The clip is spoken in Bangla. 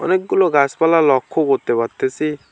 অনেকগুলো গাসপালা লক্ষ্য করতে পারতেসি।